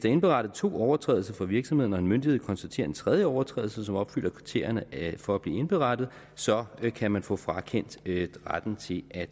er indberettet to overtrædelser for virksomheden og en myndighed konstaterer en tredje overtrædelse som opfylder kriterierne for at blive indberettet så kan man få frakendt retten til at